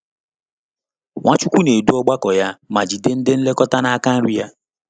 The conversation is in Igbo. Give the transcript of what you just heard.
Nwachukwu na-edu ọgbakọ ya ma jide ndị nlekọta n’aka nri ya.